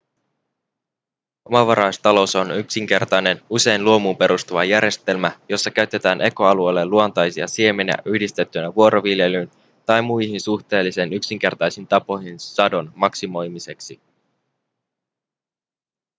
omavaraistalous on yksinkertainen usein luomuun perustuva järjestelmä jossa käytetään ekoalueelle luontaisia siemeniä yhdistettynä vuoroviljelyyn tai muihin suhteellisen yksinkertaisiin tapoihin sadon maksimoimiseksi